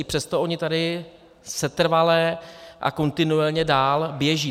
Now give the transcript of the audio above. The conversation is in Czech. I přesto ony tady setrvale a kontinuálně dál běží.